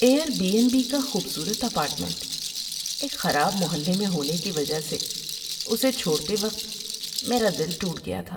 Year be N be کا خوبصورت apartment ایک خراب محلے میں ہونے کی وجہ سے اسے چھوڑتے وقت میرا دل ٹوٹ گیا تھا۔